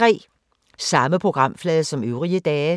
Samme programflade som øvrige dage